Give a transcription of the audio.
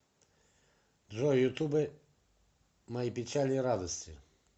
джой ютуб мои печали и радости